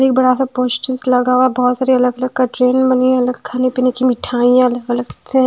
एक बड़ा सा पोस्टर्स लगा हुआ है बहुत सारी अलग अलग कैटरिंग बनी हैं अलग खाने पीने की मिठाईयाँ अलग अलग हैं।